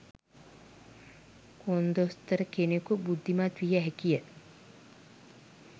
කොන්දොස්තර කෙනෙකු බුද්ධිමත් විය හැකිය.